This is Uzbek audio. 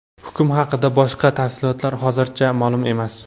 Hukm haqida boshqa tafsilotlar hozircha ma’lum emas.